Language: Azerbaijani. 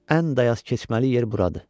Ən dayaz keçməli yer buradır.